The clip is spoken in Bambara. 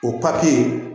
O papiye